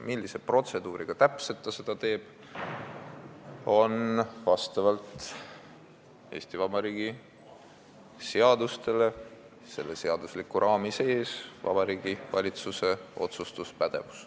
See, millise protseduuriga seda täpselt tehakse, on vastavalt Eesti Vabariigi seadustele, selle seadusliku raami sees Vabariigi Valitsuse otsustuspädevuses.